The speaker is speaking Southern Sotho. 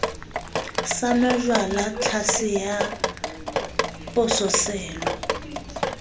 sa nwajwala tlhase ya pososelo